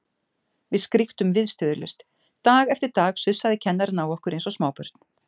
Við skríktum viðstöðulaust, dag eftir dag sussaði kennarinn á okkur eins og smábörn.